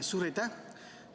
Suur aitäh!